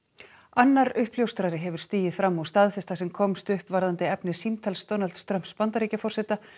annar uppljóstrari hefur stigið fram og staðfest það sem komst upp varðandi efni símtals Donalds Trumps Bandaríkjaforseta